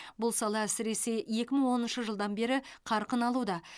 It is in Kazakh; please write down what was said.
бұл сала әсіресе екі мың оныншы жылдан бері қарқын алуда